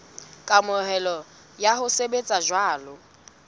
kamohelo ya ho sebetsa jwalo